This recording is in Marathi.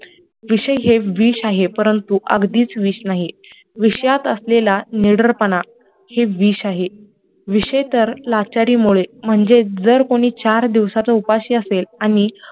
विषय हे विष आहे परंतु अगदीच विष नाही विषयात असलेला निडरपणा हेच विष आहे, विषय तर लाचारी मुळे म्हणजे जर कोणी चार दिवसाचा उपाशी असेल आणि